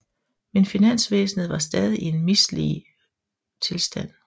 Men finansvæsenet var stadig i en mislig tilstand